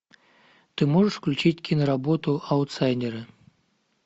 ты можешь включить киноработу аутсайдеры